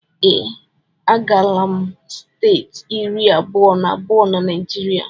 Ee, agaala m steeti iri abụọ na abụọ na Naijiria